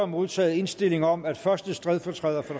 modtaget indstilling om at første stedfortræder for